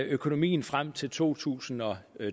økonomien frem til to tusind og